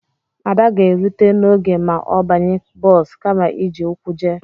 Ada ga-erute n'oge ma ọ banye bọs kama iji ụkwụ jee